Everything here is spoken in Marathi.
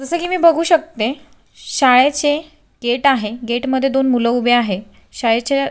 जस की मी बघू शकते शाळेचे गेट आहे गेट मध्ये दोन मुल उभे आहे शाळेच्या--